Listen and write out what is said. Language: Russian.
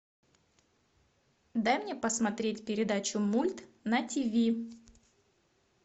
дай мне посмотреть передачу мульт на тиви